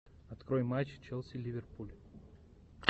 открой матч челси ливерпуль